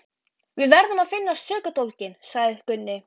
Við verðum að FINNA SÖKUDÓLGINN, sagði Gunni.